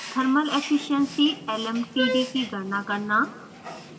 thermal efficiency lmtd की गणना करना